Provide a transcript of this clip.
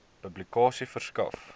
publikasie verskaf